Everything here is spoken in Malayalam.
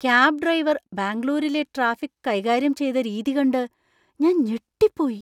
കാബ് ഡ്രൈവർ ബാംഗ്ലൂരിലെ ട്രാഫിക് കൈകാര്യം ചെയ്ത രീതി കണ്ട് ഞാൻ ഞെട്ടിപ്പോയി .